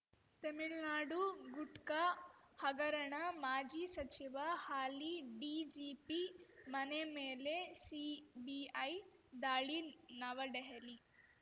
ತಮಿಳ್ನಾಡು ಗುಟ್ಕಾ ಹಗರಣ ಮಾಜಿ ಸಚಿವ ಹಾಲಿ ಡಿಜಿಪಿ ಮನೆ ಮೇಲೆ ಸಿಬಿಐ ದಾಳಿ ನವಡೆಹಲಿ